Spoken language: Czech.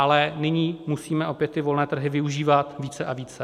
Ale nyní musíme opět ty volné trhy využívat více a více.